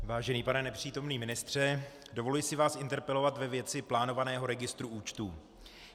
Vážený pane nepřítomný ministře, dovoluji si vás interpelovat ve věci plánovaného registru účtů.